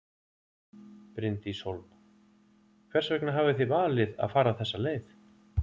Bryndís Hólm: Hvers vegna hafið þið valið að fara þessa leið?